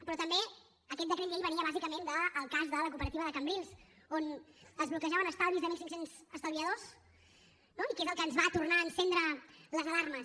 però també aquest decret llei venia bàsicament del cas de la cooperativa de cambrils on es bloquejaven estalvis de mil cinc cents estalviadors no i que és el que ens va tornar a encendre les alarmes